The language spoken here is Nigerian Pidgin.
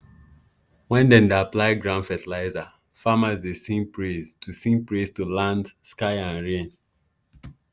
when dem dey apply ground fertilizer farmers dey sing praise to sing praise to land sky and rain.